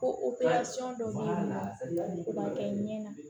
Ko dɔ b'a la o man kɛ ɲɛ na